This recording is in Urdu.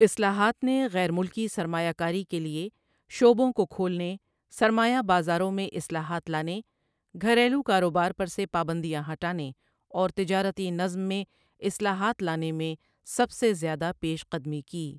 اصلاحات نے غیر ملکی سرمایہ کاری کے لیے شعبوں کو کھولنے، سرمایہ بازاروں میں اصلاحات لانے، گھریلو کاروبار پر سے پابندیاں ہٹانے اور تجارتی نظام میں اصلاحات لانے میں سب سے زیادہ پیش قدمی کی۔